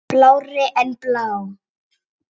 Blárri en blá.